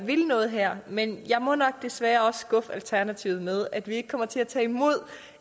vil noget her men jeg må nok desværre også skuffe alternativet med at vi ikke kommer til at tage imod